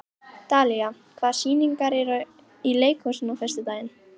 Dalía, hvaða sýningar eru í leikhúsinu á föstudaginn?